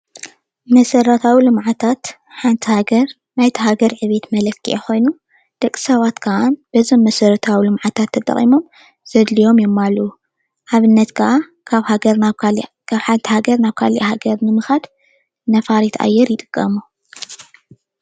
መሰራተዊ ልምዓታት ሓንቲ ሃገር ናይታ ሃገር ዕብየት መለክዒ ኮይኑ ደቂ ሰባት ከዓ በዚ መሰረታዊ ልምዓታት ተጠቂሞም ዘድልዮም የማልኡ፡፡ ኣብነት ከዓ ካብ ሓንቲ ሃገር ናብ ካሊእ ሃገር ንምካድ ነፋሪት ኣየር ይጥቅሙ፡፡